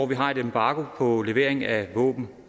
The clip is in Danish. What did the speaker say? vi har et embargo på levering af våben